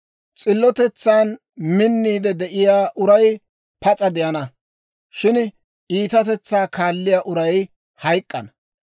S'illotetsan minniide de'iyaa uray pas'a de'ana; shin iitatetsaa kaalliyaa uray hayk'k'ana.